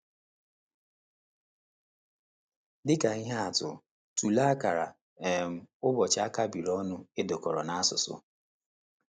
Dị ka ihe atụ, tụlee akara um ụbọchị a kapịrị ọnụ e dekọrọ n’Asusụ.